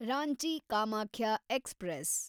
Ranchi Kamakhya express